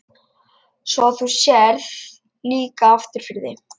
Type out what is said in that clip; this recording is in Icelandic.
Svo þú sérð líka aftur fyrir þig?